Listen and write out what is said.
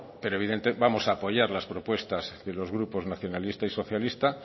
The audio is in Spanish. pero vamos a apoyar las propuestas de los grupos nacionalista y socialista